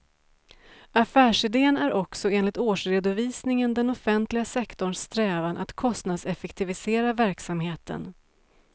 Affärsiden är också enligt årsredovisningen den offentliga sektorns strävan att kostnadseffektivisera verksamheten.